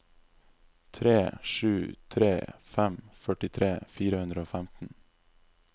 tre sju tre fem førtitre fire hundre og femten